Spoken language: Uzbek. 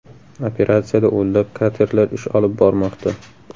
Operatsiyada o‘nlab katerlar ish olib bormoqda.